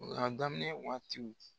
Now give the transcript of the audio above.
a daminɛ waatiw